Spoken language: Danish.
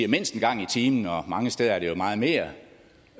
mindst en gang i timen mange steder er det jo meget mere